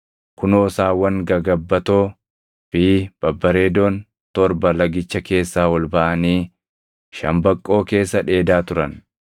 Kunoo saawwan gagabbatoo fi babbareedoon torba lagicha keessaa ol baʼanii shambaqqoo keessa dheedaa turan.